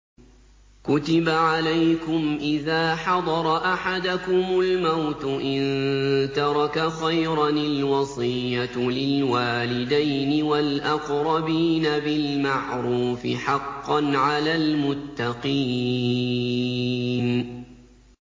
كُتِبَ عَلَيْكُمْ إِذَا حَضَرَ أَحَدَكُمُ الْمَوْتُ إِن تَرَكَ خَيْرًا الْوَصِيَّةُ لِلْوَالِدَيْنِ وَالْأَقْرَبِينَ بِالْمَعْرُوفِ ۖ حَقًّا عَلَى الْمُتَّقِينَ